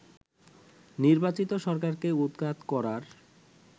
নির্বাচিত সরকারকে উৎখাত করার